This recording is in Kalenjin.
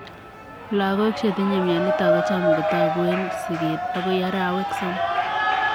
Logok chetinye mionitok kochaam kotaguu eeg sigeet agoi arawek somok